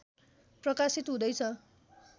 प्रकाशित हुँदैछ